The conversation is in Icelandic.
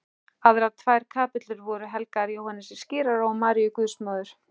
Aðrar tvær kapellur voru helgaðar Jóhannesi skírara og Maríu guðsmóður.